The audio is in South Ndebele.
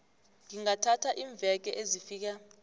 zingathatha iimveke ezifika